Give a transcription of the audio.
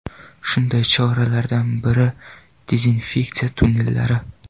Shunday choralardan biridezinfeksiya tunnellari.